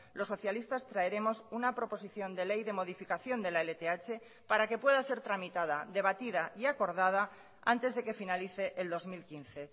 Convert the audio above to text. los socialistas traeremos una proposición de ley de modificación de la lth para que pueda ser tramitada debatida y acordada antes de que finalice el dos mil quince